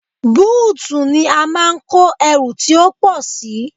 Búùtù ni a máa ń kó ẹrù tí ó pọ̀ sí.